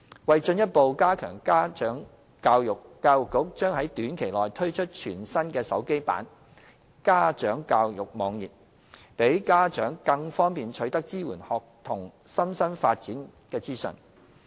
為進一步加強家長教育，教育局將於短期內推出全新的手機版家長教育網頁，讓家長更方便取得支援學童身心發展等資訊。